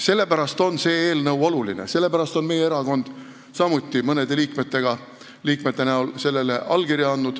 Sellepärast on see eelnõu oluline, sellepärast on ka mõned meie erakonna liikmed sellele allkirja andnud.